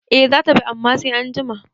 Eh zata bi amma sai anjima